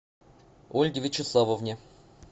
ольге вячеславовне